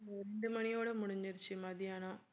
ரெண்டு மணியோட முடிஞ்சிருச்சு மத்தியானம்